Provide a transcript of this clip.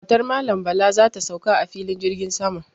Matar Malam Bala za ta sauka a filin jirgin sama.